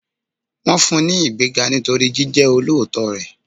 Wọn fún un ní ìgbéga nítorí jíjẹ olóòótọ́ rẹ̀.